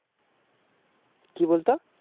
কি বলতো